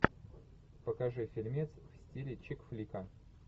покажи фильмец в стиле чикфлика